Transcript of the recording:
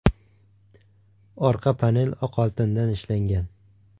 Orqa panel oq oltindan ishlangan.